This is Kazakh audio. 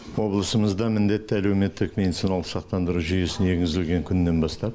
облысымызда міндетті әлеуметтік медициналық сақтандыру жүйесін енгізілген күннен бастап